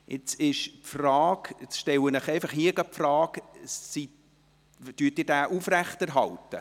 Jetzt stelle ich Ihnen hier gerade die Frage, ob Sie diesen Antrag aufrechterhalten.